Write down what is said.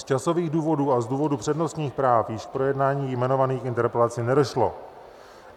Z časových důvodů a z důvodů přednostních práv již k projednání jmenovaných interpelací nedošlo.